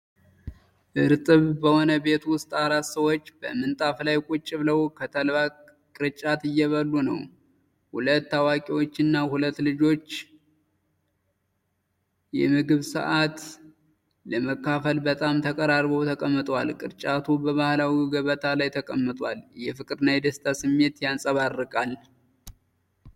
እርጥብ በሆነ ቤት ውስጥ፣ አራት ሰዎች በንጣፍ ላይ ቁጭ ብለው ከተልባ ቅርጫት እየበሉ ነው። ሁለት አዋቂዎችና ሁለት ልጆች የምግብ ሰዓት ለመካፈል በጣም ተቀራርበው ተቀምጠዋል። ቅርጫቱ በባህላዊው ገበታ ላይ ተቀምጧል፤ የፍቅርና የደስታ ስሜት ያንጸባርቃል።